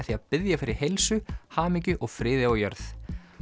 því að biðja fyrir heilsu hamingju og friði á jörð